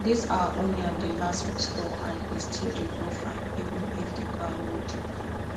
this our onion dey last for store and e still dey grow fine even if the ground no deep